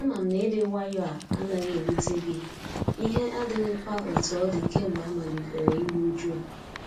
Ama m na ịdị nwayọ a anaghị ewute gị, ihe adighịkwa etu ọ dị kamgbe amalitere iru uju a.